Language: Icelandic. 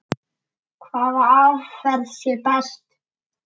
Hvaða aðferð sé best.